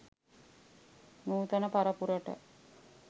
නූතන පරපුරට